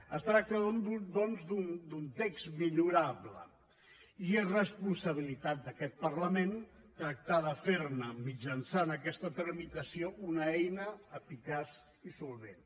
es tracta doncs d’un text millorable i és responsabilitat d’aquest parlament tractar de fer ne mitjançant aquesta tramitació una eina eficaç i solvent